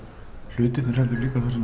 hlutirnir heldur það sem